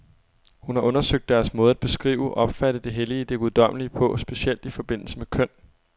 Hun har undersøgt deres måde at beskrive, opfatte det hellige, det guddommelige på, specielt i forbindelse med køn.